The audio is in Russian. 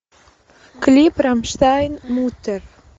клип рамштайн мутер